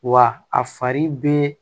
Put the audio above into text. Wa a fari bɛ